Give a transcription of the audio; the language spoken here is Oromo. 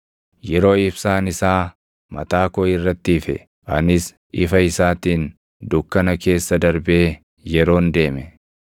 yeroo ibsaan isaa mataa koo irratti ife, anis ifa isaatiin dukkana keessa darbee yeroon deeme,